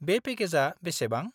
-बे पेकेजआ बेसेबां?